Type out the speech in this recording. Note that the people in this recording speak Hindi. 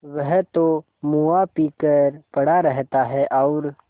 वह तो मुआ पी कर पड़ा रहता है और